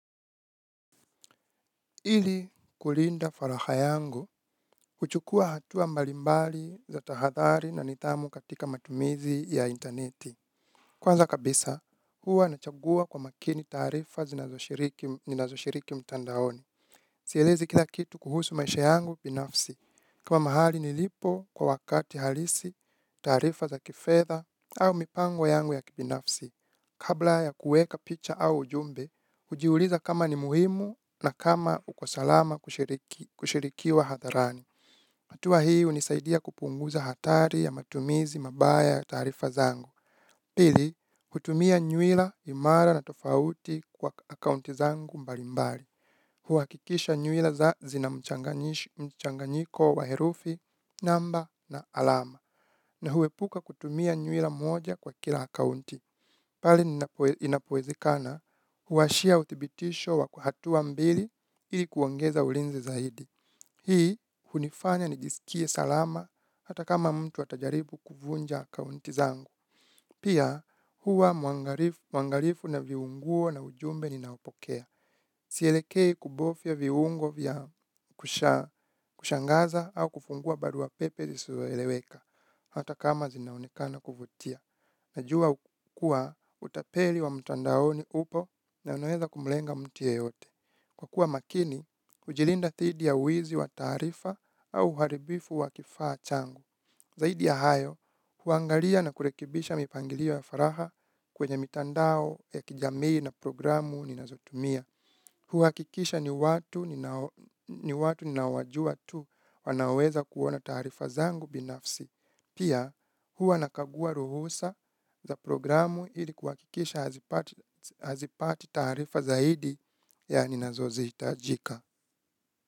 Ili kulinda furaha yangu, huchukua hatua mbalimbali za tahadhari na nidhamu katika matumizi ya interneti. Kwanza kabisa, huwa nachagua kwa makini taarifa ninazoshiriki mtandaoni. Sielezi kila kitu kuhusu maisha yangu binafsi. Kuwa mahali nilipo kwa wakati halisi, taarifa za kifedha au mipango yangu ya kibinafsi. Kabla ya kuweka picha au ujumbe, hujiuliza kama ni muhimu na kama uko salama kushirikiwa hadharani. Hatua hii hunisaidia kupunguza hatari ya matumizi mabaya ya taarifa zangu. Pili, kutumia nywila imara na tofauti kwa akaunti zangu mbalimbali. Huhakikisha nywila zina mchanganyiko wa herufi, namba na alama. Na huepuka kutumia nywila moja kwa kila akaunti. Bali inapowezikana huwashia uthibitisho wa hatua mbili ili kuongeza ulinzi zaidi. Hii hunifanya nijisikie salama hata kama mtu atajaribu kuvunja akaunti zangu. Pia huwa mwangalifu na viungo na ujumbe ninaopokea. Sielekei kubofia viungo vya kushangaza au kufungua barua pepe zisizoeleweka, hata kama zinaonekana kuvutia. Najua utapeli wa mtandaoni upo na unaweza kumlenga mtu yeyote. Kwa kuwa makini, kujilinda dhidi ya uizi wa taarifa au uharibifu wa kifaa changu. Zaidi ya hayo, huangalia na kurekebisha mipangilio ya faragha kwenye mitandao ya kijamii na programu ninazotumia. Huhakikisha ni watu ninaowajua tu wanaweza kuona taarifa zangu binafsi. Pia huwa nakagua ruhusa za programu ili kuhakikisha hazipati taarifa zaidi ya ninazohitajika.